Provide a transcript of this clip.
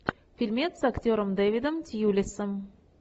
фильмец с актером дэвидом тьюлисом